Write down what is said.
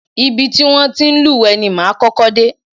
Ibi ti wọn ti ń lúwẹ̀ẹ́ ni máa kọ́kọ́ dé.